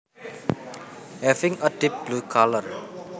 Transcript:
Having a deep blue colour